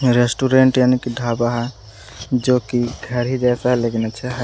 Restaurant यानी कि ढाबा है जो कि घर ही जैसा है लेकिन अच्छा है।